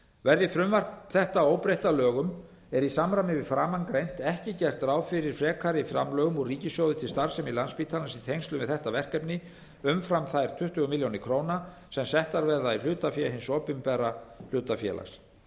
verði frumvarp þetta óbreytt að lögum er í samræmi við framangreint ekki gert ráð fyrir frekari framlögum úr ríkissjóði til starfsemi landspítalans í tengslum við þetta verkefni umfram þær tuttugu milljónir króna sem settar verða í hlutafé hins opinbera hlutafélags